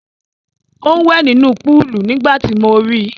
Ó ń wẹ̀ nínú púúlù nígbà tí mo ri.